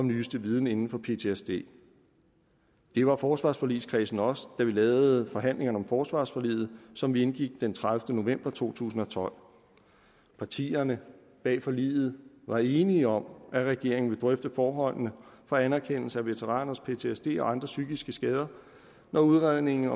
nyeste viden inden for ptsd det var forsvarsforligskredsen også da vi havde forhandlingerne om forsvarsforliget som vi indgik den tredivete november to tusind og tolv partierne bag forliget var enige om at regeringen skal drøfte forholdene for anerkendelse af veteraners ptsd og andre psykiske skader når udredningen af